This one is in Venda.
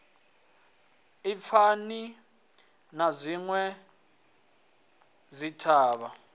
i fani na dzinwe dzithavha